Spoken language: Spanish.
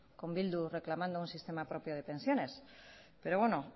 con bildu reclamando un sistema propio de pensiones pero bueno